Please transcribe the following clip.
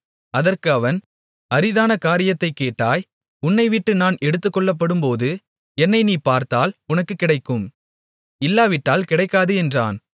அதற்கு அவன் அரிதான காரியத்தைக் கேட்டாய் உன்னைவிட்டு நான் எடுத்துக்கொள்ளப்படும்போது என்னை நீ பார்த்தால் உனக்குக் கிடைக்கும் இல்லாவிட்டால் கிடைக்காது என்றான்